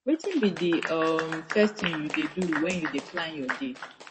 wetin be di um first thing you dey do when you dey plan your day